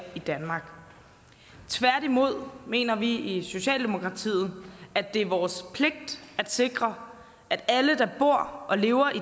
i danmark tværtimod mener vi i socialdemokratiet at det er vores pligt at sikre at alle der bor og lever i